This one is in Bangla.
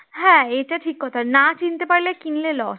এটা ঠিক কথা না চিনতে পারলে কিনলে loss